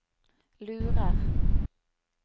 lurer